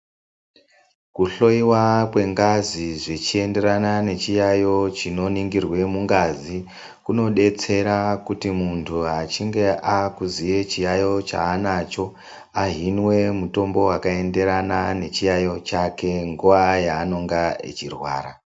Kuhloiwa kwengazi zvichienderana nechiyaiyo chinoningirwa mungazi kunodetsera kuti muntu kana achinge achiziva chiyaiyo chanenge anacho ahinwe mutombo wakaenderana nechiyayo chake nguwa yanenge achirwara.